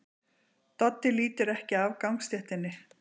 Doddi lítur ekki af gangstéttinni.